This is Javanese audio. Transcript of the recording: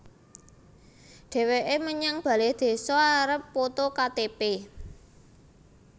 Dheweke menyang bale désa arepe poto Ka Te Pe